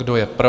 Kdo je pro?